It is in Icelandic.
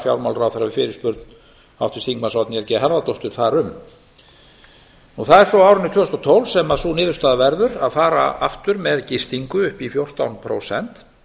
fjármálaráðherra við fyrirspurn oddnýjar g harðardóttur þar um það er svo á árinu tvö þúsund og tólf sem sú niðurstaða verður að fara aftur með gistingu upp í fjórtán prósent